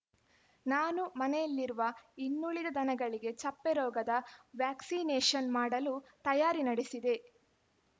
ನಾನು ಮನೆಯಲ್ಲಿರುವ ಇನ್ನುಳಿದ ದನಗಳಿಗೆ ಚಪ್ಪೆರೋಗದ ವ್ಯಾಕ್ಸಿನೇಶನ್‌ ಮಾಡಲು ತಾಯಾರಿ ನಡೆಸಿದೆ